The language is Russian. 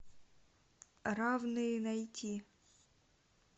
равные найти